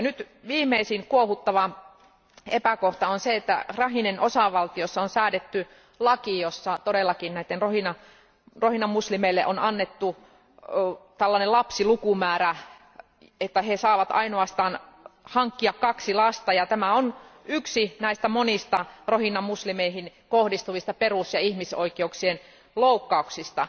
Nyt viimeisin kuohuttava epäkohta on se, että Rakhinen osavaltiossa on säädetty laki, jossa rohingya muslimeille on annettu tällainen lapsilukumäärä, että he saavat ainoastaan hankkia kaksi lasta. Tämä on yksi näistä monista rohingya muslimeihin kohdistuvista perus ja ihmisoikeuksien loukkauksista.